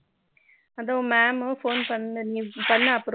அதோ mam phone பண்ணு அப்புறமா